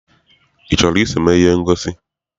I chọrọ iso eme ihe ngosi?